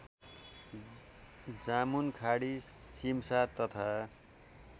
जामुनखाडी सिमसार तथा